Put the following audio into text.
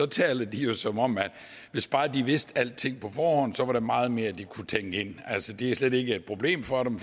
taler de jo som om at hvis bare de vidste alting på forhånd så var der meget mere de kunne tænke ind er altså slet ikke et problem for dem